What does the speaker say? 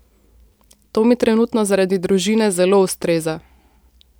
To mi trenutno zaradi družine zelo ustreza.